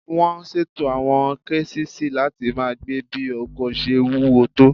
Wọ́n ṣètò àwọn késìsì láti máa gbé bí ọkọ̀ ṣe wúwo tó